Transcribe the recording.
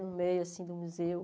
No meio, assim, do museu.